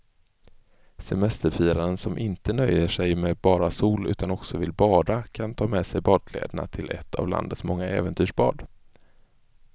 Semesterfiraren som inte nöjer sig med bara sol utan också vill bada kan ta med sig badkläderna till ett av landets många äventyrsbad.